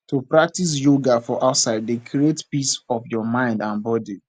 to practise yoga for outside dey create peace of your mind and body